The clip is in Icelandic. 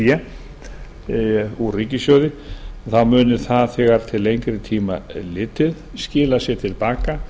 fé úr ríkissjóði þá muni það þegar til lengri tíma er litið skila sér til baka